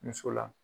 Muso la